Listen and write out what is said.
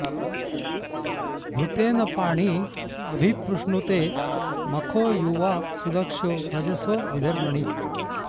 घृतेन पाणी अभि प्रुष्णुते मखो युवा सुदक्षो रजसो विधर्मणि